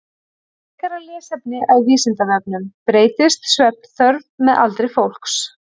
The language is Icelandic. Frekara lesefni á Vísindavefnum: Breytist svefnþörf með aldri fólks?